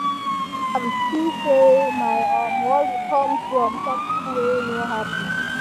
i think am see say my um worry come from something wey no happen